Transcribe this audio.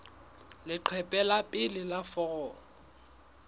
leqephe la pele la foromo